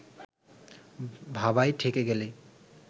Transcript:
ভাবায় ঠেকে গেলেই